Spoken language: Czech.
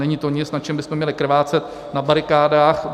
Není to nic, na čem bychom měli krvácet na barikádách.